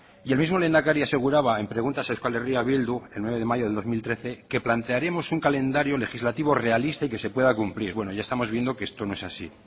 y el mismo lehendakari aseguraba en preguntas a euskal herria bildu el nueve de mayo de dos mil trece que plantearemos un calendario legislativo realista y que se pueda cumplir bueno ya estamos viendo que esto no es así